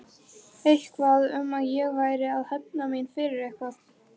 Eitthvað um að ég væri að hefna mína fyrir eitthvað.